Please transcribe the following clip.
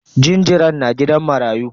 Jinjiran na gidan marayu.